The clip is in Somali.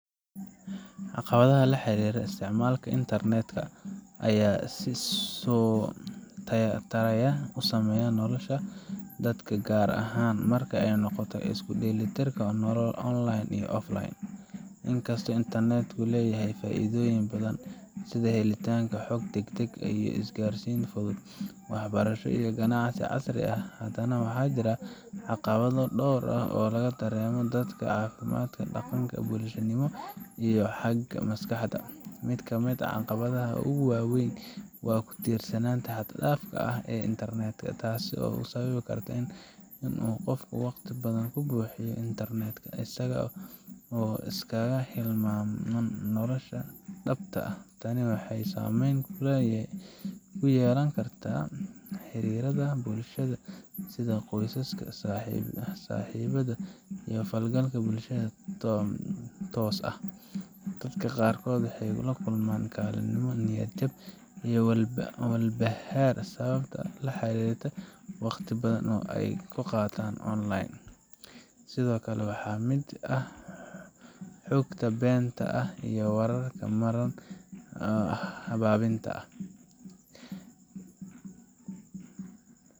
Caqabadaha la xiriira isticmaalka i nternet-ku ayaa si isa soo taraya u saameeya nolosha dadka gaar ahaan marka ay noqoto isku dheelitirka nolol online iyo offline. Inkastoo nternet ku leeyahay faa’iidooyin badan sida helitaanka xog degdeg ah, isgaarsiin fudud, waxbarasho, iyo ganacsi casri ah, haddana waxaa jira caqabado dhowr ah oo laga dareemo dhanka caafimaadka, dhaqanka, bulshanimada, iyo xagga maskaxda. Mid ka mid ah caqabadaha ugu waaweyn waa ku tiirsanaanta xad dhaafka ah ee nternet-ku, taas oo sababi karta in qofku waqti badan ku bixiyo internet-ka isaga oo iska hilmaama nolosha dhabta ah. Tani waxay saameyn ku yeelan kartaa xiriirrada bulshada sida qoyska, saaxiibada, iyo la falgalka bulshada oo toos ah. Dadka qaarkood waxay la kulmaan kalinimo, niyad jab, ama walbahaar sabab la xiriirta waqti badan oo ay ku qaataan online. Sidoo kale, waxaa ka mid ah xogta beenta ah iyo wararka marin habaabinta ah